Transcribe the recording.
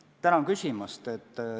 Tänan küsimast!